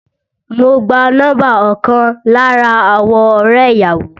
Mo gba nọ́mbà ọkàn lára àwọn ọrẹ ìyàwó